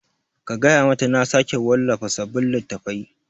Ka gaya mata na sake wallafa sabin littattafai